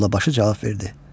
Mollabaşı cavab verdi.